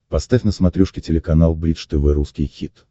поставь на смотрешке телеканал бридж тв русский хит